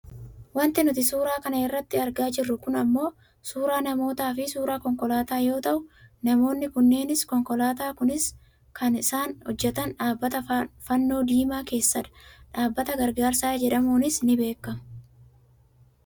Wanti nuti suuraa kana irratti argaa jirru kun ammoo suuraa namootaafi suuraa konkolaataa yoo ta'u namoonni kunneenis konkolaataan kunis kan isaan hojjatan dhabbata fannoo diimaa keessadha. Dhaabbata gargaarsaa jedhamuunis ni beekkama.